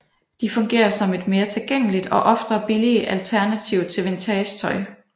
De fungerer som et mere tilgængeligt og ofte billigere alternativ til ægte vintagetøj